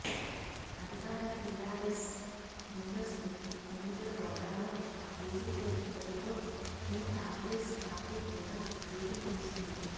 అధికార టీఆర్ఎస్ ముందస్తు ఎన్నికల గోదాలో దూసుకుపోతుండటంతో టీ కాంగ్రెస్ పార్టీ కూడా దూకుడు పెంచింది